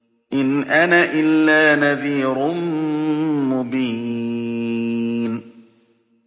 إِنْ أَنَا إِلَّا نَذِيرٌ مُّبِينٌ